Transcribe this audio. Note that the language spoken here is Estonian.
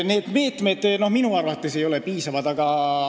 Need meetmed ei ole minu arvates piisavad.